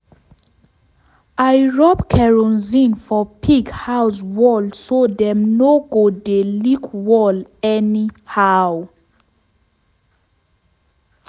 i rub kerosene for pig house wall so dem no go dey lick wall anyhow.